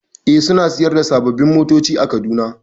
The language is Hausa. E, suna sayar da sababbin motoci a Kaduna.